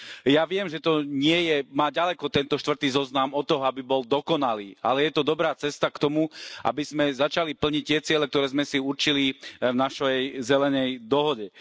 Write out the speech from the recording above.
Ja viem, že to nie je, má ďaleko tento štvrtý zoznam, aby bol dokonalý, ale je to dobrá cesta k tomu, aby sme začali plniť tie ciele, ktoré sme si určili v našej zelenej dohode.